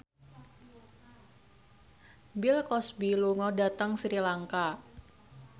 Bill Cosby lunga dhateng Sri Lanka